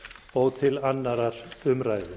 og til annarrar umræðu